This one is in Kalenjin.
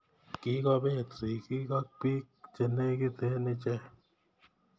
Kikobet sigik ak bik che negite ichek